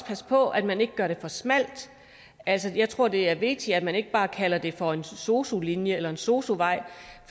passe på at man ikke gør det for smalt altså jeg tror det er vigtigt at man ikke bare kalder det for en sosu linje eller en sosu vej